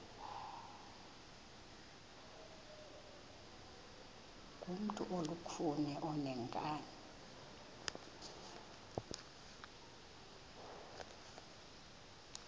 ngumntu olukhuni oneenkani